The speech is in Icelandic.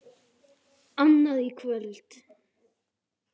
Annað kvöld??